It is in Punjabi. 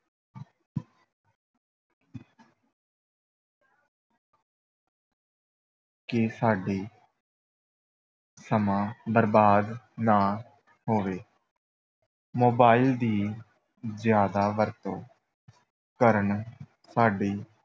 ਕਿ ਸਾਡੇ ਸਮਾਂ ਬਰਬਾਦ ਨਾ ਹੋਵੇ mobile ਦੀ ਜ਼ਿਆਦਾ ਵਰਤੋਂ ਕਰਨ ਸਾਡੀ